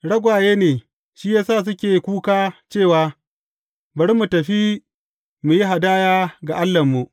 Ragwaye ne, shi ya sa suke kuka cewa, Bari mu tafi mu yi hadaya ga Allahnmu.’